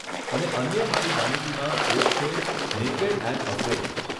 અને અન્ય મારી માનીતીમાં એક છે નેકેડ એન્ડ અફ્રેઈડ.